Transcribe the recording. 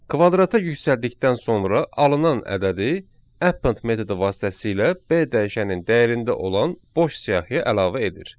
Kvadrata yüksəltdikdən sonra alınan ədədi append metodu vasitəsilə B dəyişənin dəyərində olan boş siyahiyə əlavə edir.